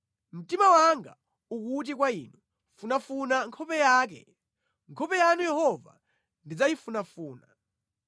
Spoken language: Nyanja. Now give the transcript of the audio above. Mtima wanga ukuti kwa Inu, “Funafuna nkhope yake!” Nkhope yanu Yehova ndidzayifunafuna.